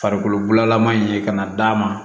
Farikololalaman in ye kana d'a ma